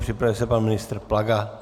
Připraví se pan ministr Plaga.